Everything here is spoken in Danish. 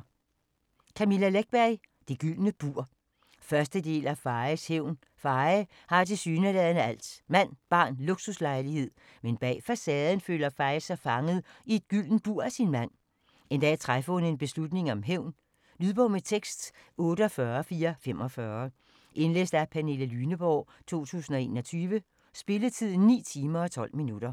Läckberg, Camilla: Det gyldne bur 1. del af Fayes hævn. Faye har tilsyneladende alt: mand, barn og luksuslejlighed. Men bag facaden føler Faye sig fanget i et gyldent bur af sin mand. En dag træffer hun en beslutning om hævn. Lydbog med tekst 48445 Indlæst af Pernille Lyneborg, 2021. Spilletid: 9 timer, 12 minutter.